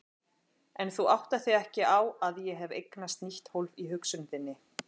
En þú áttar þig ekki á að ég hef eignast nýtt hólf í hugsun þinni.